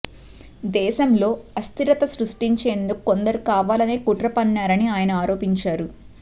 దేశంలో అస్థిరత సృష్టించేందుకు కొందరు కావాలనే కుట్ర పన్నారని ఆనయ ఆరోపించారు